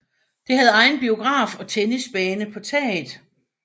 Det havde egen biograf og tennisbane på taget